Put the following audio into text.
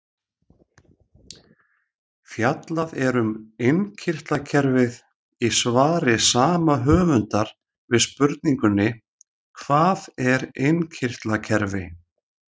Fjallað er um innkirtlakerfið í svari sama höfundar við spurningunni Hvað er innkirtlakerfi?